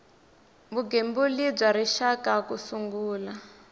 vugembuli bya rixaka ku sungula